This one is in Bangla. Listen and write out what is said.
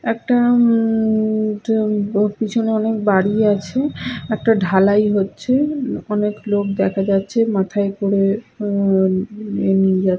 একটা উম উম পেছনে অনেক বাড়ি আছে একটা ঢালাই হচ্ছে অনেক লোক দেখা যাচ্ছে মাথায় করে উম উম নিয়ে যা --